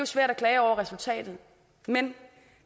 svært at klage over resultatet men